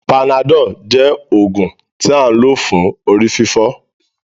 Panadol jẹ oògùn tí a lò fún orí-fífọ́